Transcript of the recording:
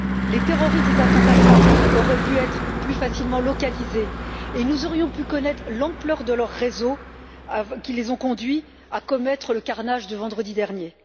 Les terroristes des attentats Paris auraient pu être plus facilement localisés et nous aurions pu connaître l'ampleur de leur réseau qui les a conduits à commettre le carnage de vendredi dernier